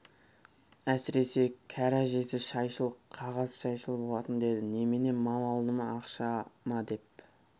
әсіресе кәрі әжесі шайшыл қағаз шайшыл болатын деді немене мал алды ма ақша ма деп